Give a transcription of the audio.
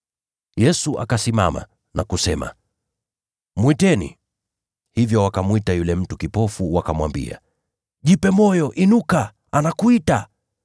Yesu akasimama na kusema, “Mwiteni.” Hivyo wakamwita yule mtu kipofu, wakamwambia, “Jipe moyo! Inuka, anakuita.”